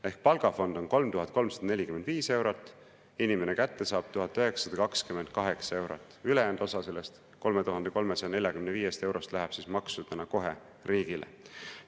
Ehk palgafond on 3345 eurot, inimene saab kätte 1928 eurot, ülejäänud osa sellest 3345 eurost läheb maksudena kohe riigile.